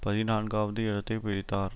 பதினான்காவது இடத்தை பிடித்தார்